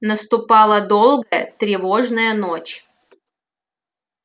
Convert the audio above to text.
наступала долгая тревожная ночь